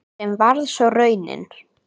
Sem varð svo raunin.